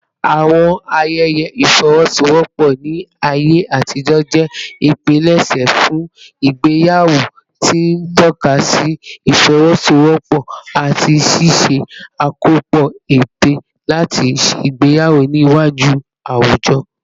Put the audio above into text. Àwọn ayẹyẹ ìfọwọ́sowọ́pọ̀ ní ayé àtijọ́ jẹ́ ìpilẹ̀ṣẹ̀ fún ìgbéyàwó, tí ń tọ́ka sí ìfọwọ́sowọ́pọ̀ àti ṣíṣe àkópọ̀ ète láti ṣègbéyàwó níwájú àwùjọ.